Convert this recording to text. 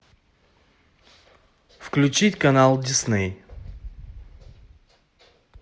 включить канал дисней